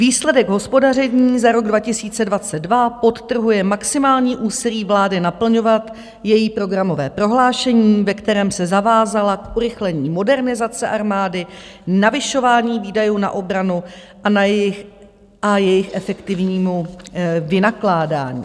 Výsledek hospodaření za rok 2022 podtrhuje maximální úsilí vlády naplňovat její programové prohlášení, ve kterém se zavázala k urychlení modernizace armády, navyšování výdajů na obranu a jejich efektivnímu vynakládání.